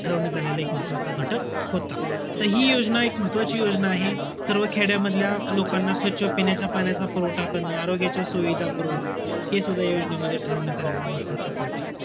ठरवण्यात आलेलं एक महत्वाचं घटक होता. त हि योजना एक महत्वाची योजना आहे. सर्व खेड्यामधल्या लोकांना स्वच्छ पिण्याच्या पाण्याचा पूरवठा करणं, आरोग्याच्या सुविधा पुरवणं हे सुद्धा या योजनेमध्ये ठरवण्यात आलेला महत्वाचा point होता.